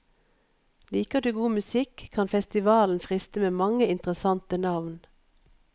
Liker du god musikk kan festivalen friste med mange interessante navn.